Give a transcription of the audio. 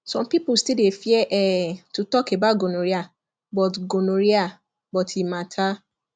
some people still dey fear um to talk about gonorrhea but gonorrhea but e matter